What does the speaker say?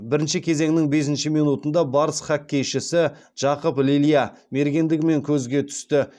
бірінші кезеңнің бесінші минутында барыс хоккейшісі жақып лилья мергендігімен көзге түсті